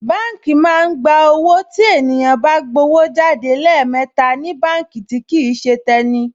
Báǹkì máa ń gba owó tí ènìyàn bá gbówó jáde lẹ́ẹ̀mẹta ní báǹkì tí kìí ṣe tẹni